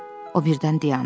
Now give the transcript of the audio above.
O birdən dayandı.